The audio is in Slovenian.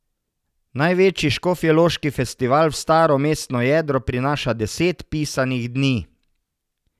Največji škofjeloški festival v staro mestno jedro prinaša deset pisanih dni.